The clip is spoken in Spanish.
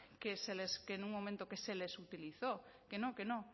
que en un momento que se les utilizó que no que no